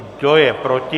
Kdo je proti?